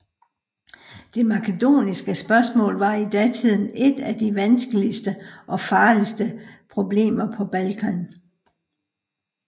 Det makedoniske spørgsmål var i datiden et af de vanskeligste og farligste problemer på Balkan